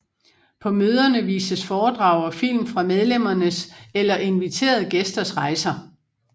På møderne vises foredrag og film fra medlemmernes eller inviterede gæsters rejser